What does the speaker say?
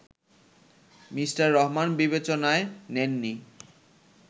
Mr Rahman বিবেচনায় নেন নি